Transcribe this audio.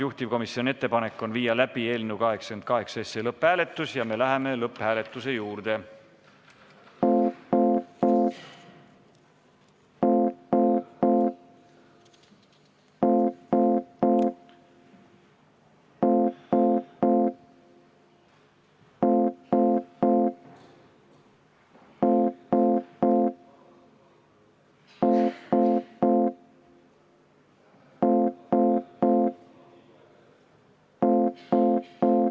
Juhtivkomisjoni ettepanek on viia läbi eelnõu 88 lõpphääletus ja me läheme lõpphääletuse juurde.